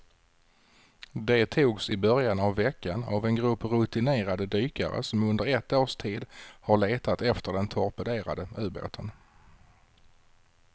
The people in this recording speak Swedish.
De togs i början av veckan av en grupp rutinerade dykare som under ett års tid har letat efter den torpederade ubåten.